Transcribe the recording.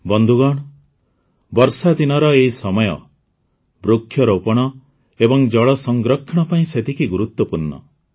ବନ୍ଧୁଗଣ ବର୍ଷାଦିନର ଏହି ସମୟ ବୃକ୍ଷରୋପଣ ଏବଂ ଜଳ ସଂରକ୍ଷଣ ପାଇଁ ମଧ୍ୟ ସେତିକି ଗୁରୁତ୍ୱପୂର୍ଣ୍ଣ